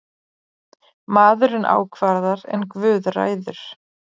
Maðurinn ákvarðar en guð ræður.